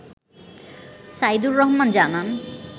সাইদুর রহমান জানান